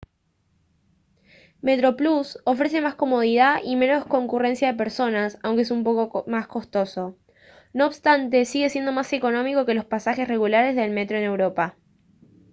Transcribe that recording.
metroplus ofrece más comodidad y menos concurrencia de personas aunque es un poco más costoso no obstante sigue siendo más económico que los pasajes regulares de metro en europa